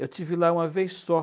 Eu estive lá uma vez só.